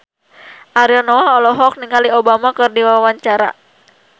Ariel Noah olohok ningali Obama keur diwawancara